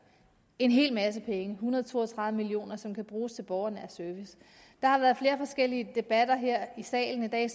en hel masse penge en hundrede og to og tredive million kr som kan bruges til borgernær service der har været flere forskellige debatter her i salen i dag